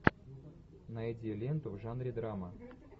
найди ленту в жанре драма